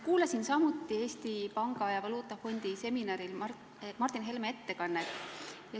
Kuulasin samuti Eesti Panga ja Rahvusvahelise Valuutafondi seminaril Martin Helme ettekannet.